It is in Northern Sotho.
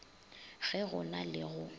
ge go na le go